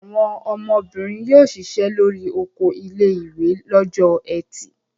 Àwọn ọmọbìnrin yóò ṣiṣẹ́ lórí oko ilé-ìwé lọ́jọ́ ẹtì.